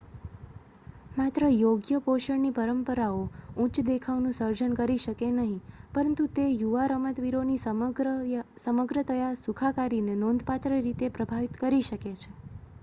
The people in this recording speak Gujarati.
માત્ર યોગ્ય પોષણની પરંપરાઓ ઉચ્ચ દેખાવનું સર્જન કરી શકે નહીં પરંતુ તે યુવા રમતવીરોની સમગ્રતયા સુખાકારીને નોંધપાત્ર રીતે પ્રભાવિત કરી શકે છે